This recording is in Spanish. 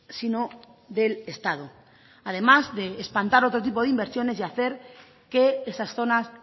sino del estado además de espantar otro tipo de inversiones y hacer que esas zonas